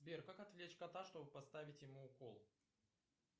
сбер как отвлечь кота чтобы поставить ему укол